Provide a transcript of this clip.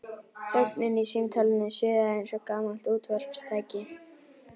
Þögnin í símtólinu suðaði eins og gamalt útvarpstæki.